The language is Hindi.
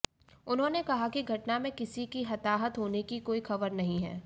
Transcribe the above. उन्होंने कहा कि घटना में किसी के हताहत होने की कोई खबर नहीं है